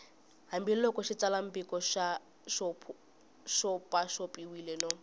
hambiloko xitsalwambiko xi xopaxopiwile no